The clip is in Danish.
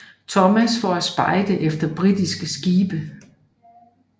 Thomas for at spejde efter britiske skibe